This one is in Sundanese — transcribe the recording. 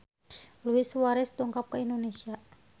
Luis Suarez dongkap ka Indonesia